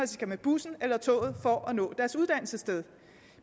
skal med bussen eller toget for at nå deres uddannelsessted